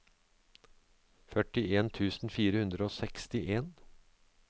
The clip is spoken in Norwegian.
førtien tusen fire hundre og sekstien